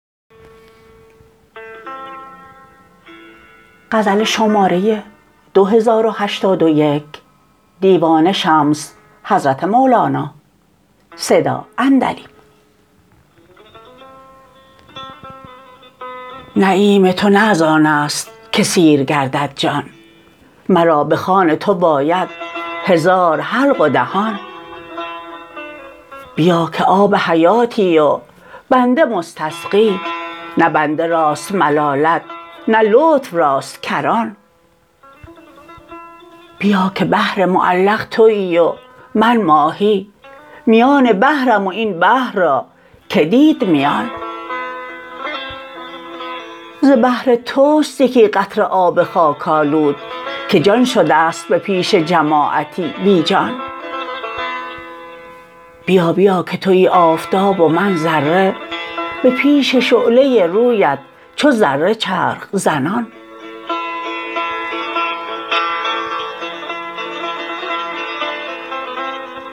نعیم تو نه از آن است که سیر گردد جان مرا به خوان تو باید هزار حلق و دهان بیا که آب حیاتی و بنده مستسقی نه بنده راست ملالت نه لطف راست کران بیا که بحر معلق توی و من ماهی میان بحرم و این بحر را کی دید میان ز بحر توست یکی قطره آب خاک آلود که جان شده ست به پیش جماعتی بی جان بیا بیا که توی آفتاب و من ذره به پیش شعله رویت چو ذره چرخ زنان